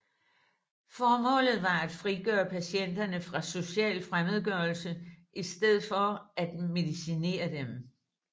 Formålet var at frigøre patienterne fra social fremmedgørelse i stedet for at medicinere dem